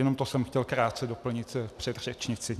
Jenom to jsem chtěl krátce doplnit k předřečnici.